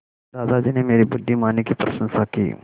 दादाजी ने मेरी बुद्धिमानी की प्रशंसा की